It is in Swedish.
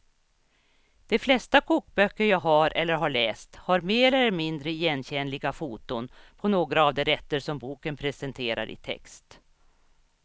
De flesta kokböcker jag har eller har läst har mer eller mindre igenkännliga foton på några av de rätter som boken presenterar i text.